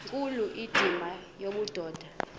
nkulu indima yobudoda